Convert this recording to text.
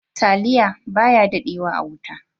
"Taliya" baya daɗe wa a wuta.